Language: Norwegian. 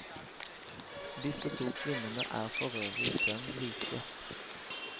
Disse to kvinnene er forøvrig dønn like.